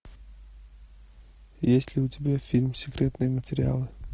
есть ли у тебя фильм секретные материалы